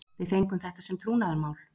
Við fengum þetta sem trúnaðarmál